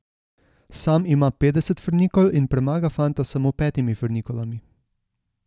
Sam ima petdeset frnikol in premaga fanta s samo petimi frnikolami.